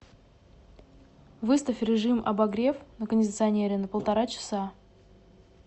выставь режим обогрев на кондиционере на полтора часа